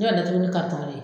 Ne b'a datugu ni karitɔn de ye